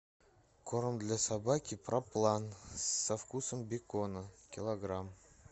корм для собаки проплан со вкусом бекона килограмм